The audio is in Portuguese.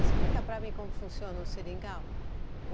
Explica para mim como funciona o seringal.